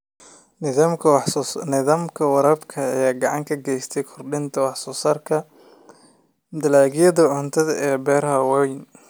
Nidaamka waraabka ayaa gacan ka geysta kordhinta wax soo saarka dalagyada cuntada ee beeraha waaweyn.